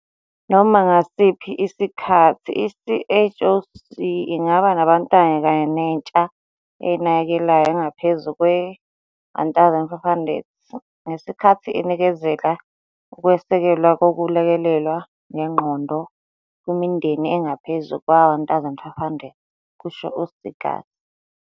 "Noma ngasiphi isikhathi, i-CHOC ingaba nabantwana kanye nentsha eyinakekelayo engaphezu kwe-1 500, ngesikhathi inikezela ukwesekelwa kokululekwa ngengqondo kwimindeni engaphezu kwe-1 500," kusho u-Seegers.